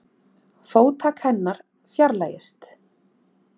Fótatak hennar fjarlægist.